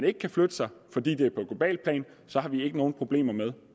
ikke kan flytte sig fordi det er på globalt plan så har vi ikke nogen problemer med